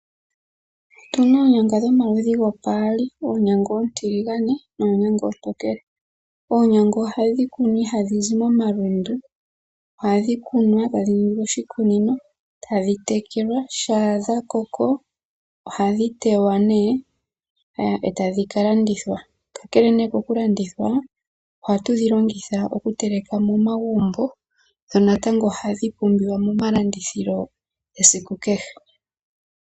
Otuna oonyanga dhomaludhi gopaali oonyanga ontiligane noonyanga ontokele. Oonyanga ohadhi kunwa ihadhi zi momalundu. ohadhi kunwa tadhi ningi oshikunino tadhi tekelwa. Shaa dha koko ohadhi tewa nee eta dhika landithwa. Kakele nee kokulandithwa oha tudhi longitha momagumbo dho natango ohadhi pumbiwa momalandithilo esiku kehe.